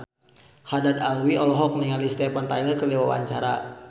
Haddad Alwi olohok ningali Steven Tyler keur diwawancara